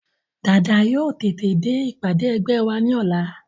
Dàda yóò tètè dé ìpàdé ẹgbẹ́ wa ní ọ̀la